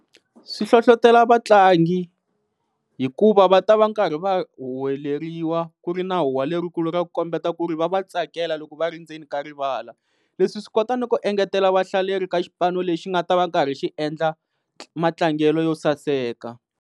Swi hlohlotela vatlangi hikuva va ta va karhi va huweleriwa ku ri na huwa lerikulu ra ku kombeta ku ri va va tsakela loko va ri ndzeni ka rivala, leswi swi kota ni ku engetela vahlaleri ka xipano lexi nga ta va karhi xi endla matlangelo yo saseka.